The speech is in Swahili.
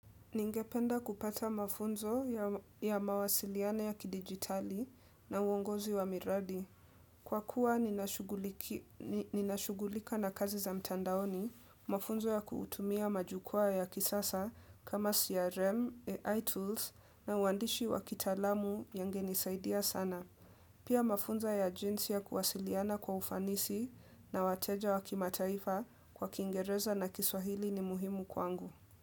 Ningependa kupata mafunzo ya mawasiliano ya kidigitali na uongozi wa miradi. Kwa kuwa ninashughulika na kazi za mtandaoni, mafunzo ya kutumia majukwaa ya kisasa kama CRM, AI tools na uandishi wa kitaalamu yangenisaidia sana. Pia mafunzo ya jinsi ya kuwasiliana kwa ufanisi na wateja wa kimataifa kwa kiingereza na kiswahili ni muhimu kwangu.